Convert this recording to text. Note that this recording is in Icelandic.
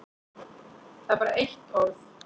Það er bara eitt orð.